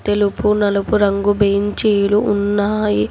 తెలుపు నలుపు రంగు బెంచీలు ఉన్నాయి.